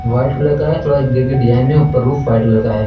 White colour का है। थोड़ा डिजाइन है। ऊपर रुफ व्हाइट कलर का है।